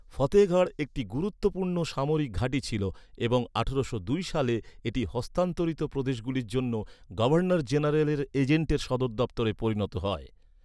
ফতেহগড় একটি গুরুত্বপূর্ণ সামরিক ঘাঁটি ছিল এবং আঠারোশো দুই সালে এটি হস্তান্তরিত প্রদেশগুলির জন্য গভর্নর জেনারেলের এজেন্টের সদর দফতরে পরিণত হয়।